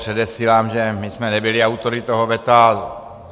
Předesílám, že my jsme nebyli autory toho veta.